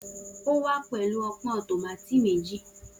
O wa pẹlu ọpọn tomati meji